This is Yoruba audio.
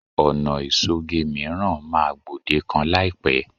Ọ̀nà ìṣoge mìíràn máa gbòdekan láìpẹ́